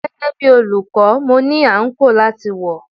Gẹ́gẹ́ bí olùkọ́, mo ní àǹkóò láti wọ̀.